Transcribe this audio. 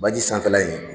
Baji sanfɛla in